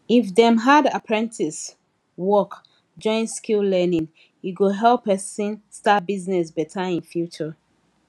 if dem add apprentice work join skill learning e go help person start business better in future